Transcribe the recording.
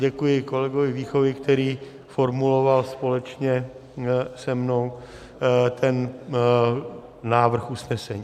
Děkuji kolegovi Víchovi, který formuloval společně se mnou ten návrh usnesení.